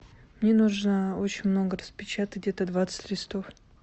мне нужно очень много распечатать где то двадцать листов